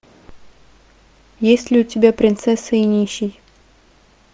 есть ли у тебя принцесса и нищий